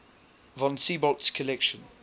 von siebold's collection